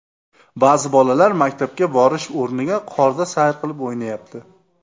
Ba’zi bolalar maktabga borish o‘rniga qorda sayr qilib, o‘ynayapti.